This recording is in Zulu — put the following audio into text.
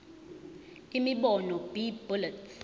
imibono b bullets